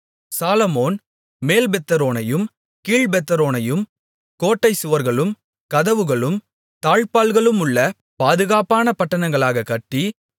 சாலொமோன் மேல்பெத்தொரோனையும் கீழ்பெத்தொரோனையும் கோட்டைச் சுவர்களும் கதவுகளும் தாழ்ப்பாள்களுமுள்ள பாதுகாப்பான பட்டணங்களாகக் கட்டி